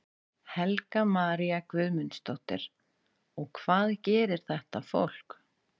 Helga María Guðmundsdóttir: Og hvað gerir þetta fólk?